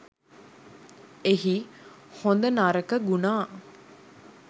එහි හොඳ නරක ගුණා